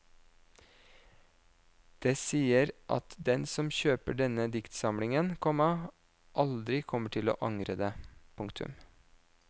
Det sier at den som kjøper denne diktsamlingen, komma aldri kommer til å angre det. punktum